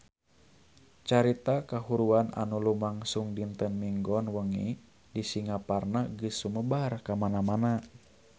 Carita kahuruan anu lumangsung dinten Minggon wengi di Singaparna geus sumebar kamana-mana